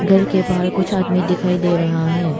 घर के बाहर कुछ आदमी दिखाई दे रहा है।